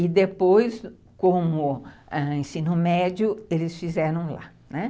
E depois, como ensino médio, eles fizeram lá, né?